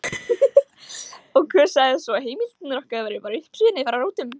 Og hver sagði svo að heimildirnar okkar væru bara uppspuni frá rótum?